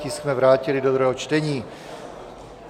Tisk jsme vrátili do druhého čtení.